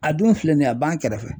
A dun filɛ nin ye a b'an kɛrɛfɛ.